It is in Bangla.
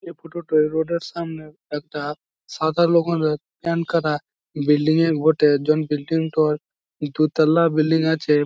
এই ফটো -টা রোড -এর সামনে একটা সাদা বিল্ডিং -এর বটে | বিল্ডিং -টার দু তোলা বিল্ডিং আছে ।